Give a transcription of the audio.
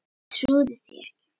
Trúði því ekki.